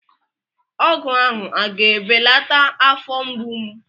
Ọgwụ ahụ a ga-ebelata afọ mgbu m?